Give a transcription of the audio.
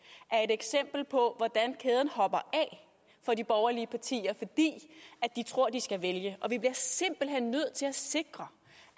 er et eksempel på hvordan kæden hopper af for de borgerlige partier fordi de tror de skal vælge vi bliver simpelt hen nødt til at sikre